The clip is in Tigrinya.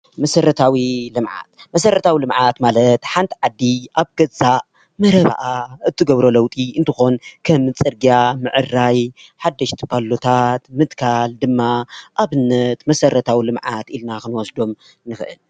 መሰረታዊ ልምዓት መሰረታዊ ልምዓት ማለት ሓንቲ ዓዲ ኣብ ገዛ መረበኣ እትገብሮ ለውጢ እንትኮን ከም ፅርግያ ምዕራይ ፣ሓደሽቲ ፓሎታት ምትካል ድማ ኣብነት መሰረታዊ ልምዓት ኢልና ክንወስዶም ንኽእል።